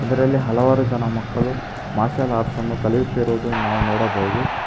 ಇದ್ರಲ್ಲಿ ಹಲವಾರು ಜನ ಮಕ್ಕಳು ಮಾರ್ಷಲ್ ಆರ್ಟ್ಸ್ ಅನ್ನು ಕಲಿಯುತ್ತಿರುವುದು ನಾವು ನೋಡಬಹುದು.